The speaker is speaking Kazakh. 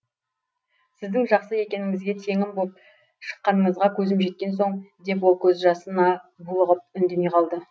сіздің жақсы екеніңізге теңім боп шыққаныңызға көзім жеткен соң деп ол көз жасына булығып үндемей қалды